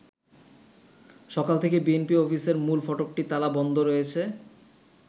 সকাল থেকেই বিএনপি অফিসের মূল ফটকটি তালা বন্ধ রয়েছে।